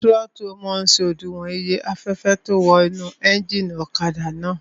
Tírótù máa n ṣe òdiwọ̀n iye afẹ́fẹ́ tó ún wọ inú éjìnì ọ̀kadà náà